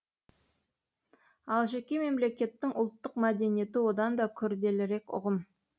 ал жеке мемлекеттің ұлттық мәдениеті одан да күрделірек ұғым